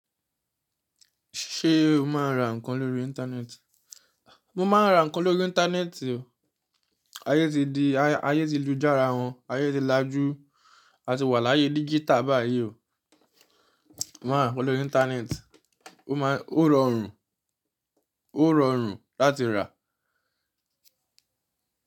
Ṣé o máa ń ra ǹkan lórí íńtánẹ́ẹ̀tì. Mo máa ń ra ǹkan lórí íńtánẹ́ẹ̀tì o. Ayé ti di ayé ti lújá ara wọn, ayé ti lajú. A ti wà láyé dígítà báyìí o. Máa ń rà lórí íńtánẹ́ẹ̀tì, o máa ń rọrùn, ó rọrùn láti rà.